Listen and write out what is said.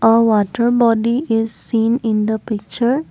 a water boating is seen in the picture.